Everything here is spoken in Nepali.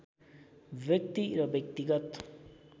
व्यक्ति र व्यक्तिगत